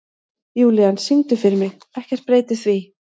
Júlían, syngdu fyrir mig „Ekkert breytir því“.